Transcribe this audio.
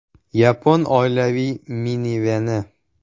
Yapon oilaviy miniveni.